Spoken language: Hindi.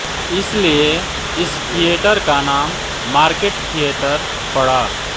इस लिए इस थियेटर का नाम मार्केट थियेटर पड़ा